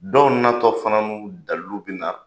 Dɔw na tɔ fana ni dalu bi na.